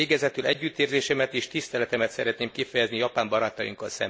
Végezetül együttérzésemet és tiszteletemet szeretném kifejezni japán barátainknak.